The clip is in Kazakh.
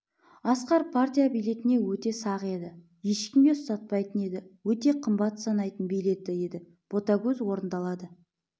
асқар партия билетіне өте сақ еді ешкімге ұстатпайтын еді өте қымбат санайтын билеті еді ботагөз орындалады